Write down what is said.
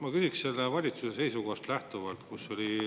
Ma küsiks valitsuse seisukohast lähtuvalt.